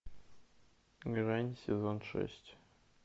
мерань сезон шесть